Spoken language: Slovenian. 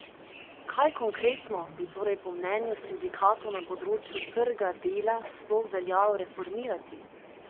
Kaj konkretno bi torej po mnenju sindikatov na področju trga dela sploh veljalo reformirati?